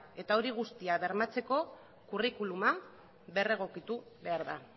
eta hori guztia bermatzeko curriculuma berregokitu behar da